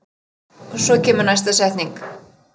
Og veit hvar ég er.